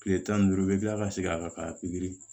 Kile tan ni duuru i be kila ka segin a kan ka pikiri